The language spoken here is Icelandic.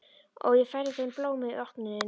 Og ég færði þeim blóm við opnunina.